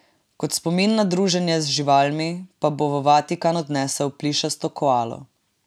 Kot spomin na druženje z živalmi, pa bo v Vatikan odnesel plišasto koalo.